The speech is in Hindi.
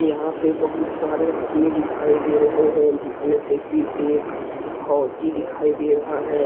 यहां पे बहुत सारे आदमी दिखाई दे रहे है जिसमे से कि एक फौजी दिखाई दे रहा है ।